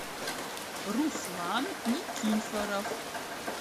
руслан никифоров